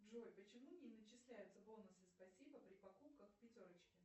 джой почему не начисляются бонусы спасибо при покупках в пятерочке